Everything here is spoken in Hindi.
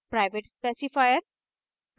private specifier